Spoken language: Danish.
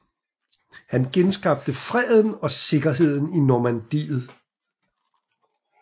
Han genskabte freden og sikkerheden i Normandiet